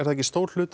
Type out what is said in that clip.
stór hluti